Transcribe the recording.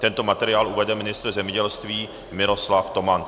Tento materiál uvede ministr zemědělství Miroslav Toman.